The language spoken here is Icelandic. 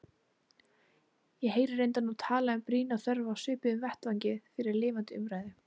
Ég heyri reyndar nú talað um brýna þörf á svipuðum vettvangi fyrir lifandi umræðu.